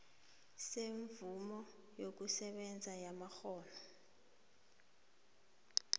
semvumo yokusebenza yamakghono